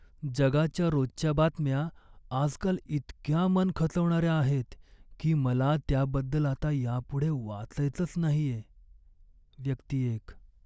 जगाच्या रोजच्या बातम्या आजकाल इतक्या मन खचवणाऱ्या आहेत की मला त्याबद्दल आता यापुढे वाचायचंच नाहीये. व्यक्ती एक